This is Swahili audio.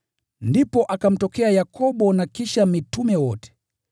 Ndipo akamtokea Yakobo na kisha mitume wote.